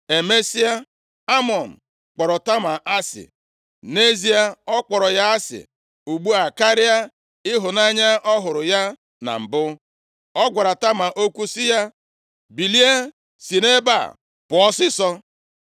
Emesịa, Amnọn kpọrọ Tama asị. Nʼezie, ọ kpọrọ ya asị ugbu a karịa ịhụnanya ọ hụrụ ya na mbụ. Ọ gwara Tama okwu sị ya, “Bilie si nʼebe a pụọ ọsịịsọ!”